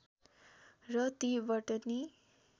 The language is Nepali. र ती बटनी